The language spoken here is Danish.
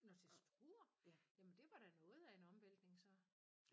Nåh til Struer? Jamen det var da noget af en omvæltning så